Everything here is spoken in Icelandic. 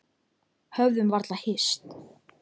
Höfðum varla hist.